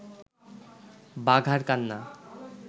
বাঘার কান্না